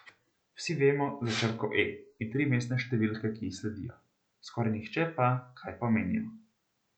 Vsi vemo za črko E in trimestne številke, ki ji sledijo, skoraj nihče pa, kaj pomenijo.